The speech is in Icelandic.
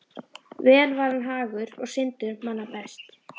Vel var hann hagur og syndur manna best.